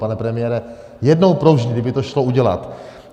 Pane premiére, jednou provždy kdyby to šlo udělat.